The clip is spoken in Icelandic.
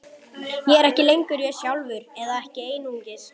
Ég er ekki lengur ég sjálfur, eða ekki einungis.